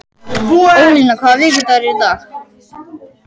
Ólína, hvaða vikudagur er í dag?